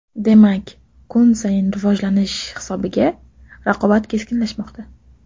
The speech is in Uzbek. Demak kun sayin rivojlanish hisobiga raqobat keskinlashmoqda.